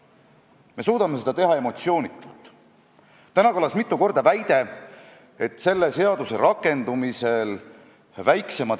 Seega ei soovi eesti keelt aidata – see on küll minu meelevaldne tõlgendus, aga selline on olukord, mida Keeleinspektsiooni peadirektor kirjeldas – ei Isamaa, ei sotsiaaldemokraadid ega Keskerakond.